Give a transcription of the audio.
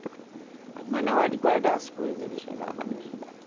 Mas na hora de guardar as coisa, ele chegava para me ajudar.